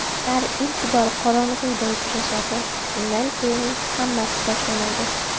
Ular ilk bor qorong‘uda uchrashadi, shundan keyin hammasi boshlanadi.